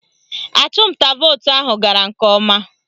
Achụmnta vootu ahụ gara nke ọma